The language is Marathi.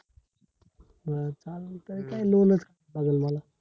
बर चालतंय काय loan च लागल मला